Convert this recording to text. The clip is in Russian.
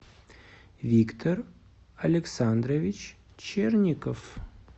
виктор александрович черников